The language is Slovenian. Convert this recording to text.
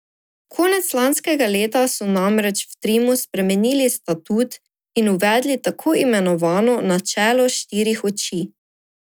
Konec lanskega leta so namreč v Trimu spremenili statut in uvedli tako imenovano načelo štirih oči.